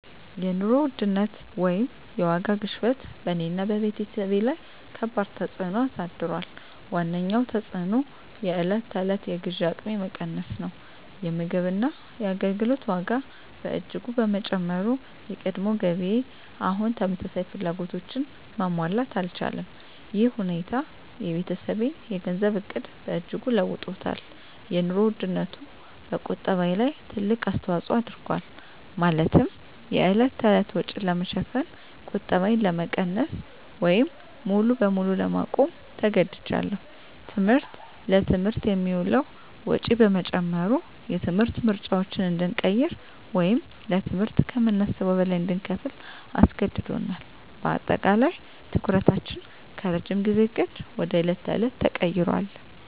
የኑሮ ውድነት (የዋጋ ግሽበት) በእኔና በቤተሰቤ ላይ ከባድ ተፅዕኖ አሳድሯል። ዋነኛው ተፅዕኖ የዕለት ተዕለት የግዢ አቅሜ መቀነስ ነው። የምግብና የአገልግሎት ዋጋ በእጅጉ በመጨመሩ፣ የቀድሞ ገቢዬ አሁን ተመሳሳይ ፍላጎቶችን ማሟላት አልቻለም። ይህ ሁኔታ የቤተሰቤን የገንዘብ ዕቅድ በእጅጉ ለውጦታል - የኑሮ ውድነቱ በቁጠባዬ ላይ ትልቅ አስተዋጽኦ አድርጓል፤ ማለትም የዕለት ተዕለት ወጪን ለመሸፈን ቁጠባዬን ለመቀነስ ወይም ሙሉ በሙሉ ለማቆም ተገድጃለሁ። ትምህርት: ለትምህርት የሚውለው ወጪ በመጨመሩ፣ የትምህርት ምርጫዎችን እንድንቀይር ወይም ለትምህርት ከምናስበው በላይ እንድንከፍል አስገድዶናል። በአጠቃላይ፣ ትኩረታችን ከረጅም ጊዜ ዕቅድ ወደ የዕለት ተዕለት ተቀይሯል።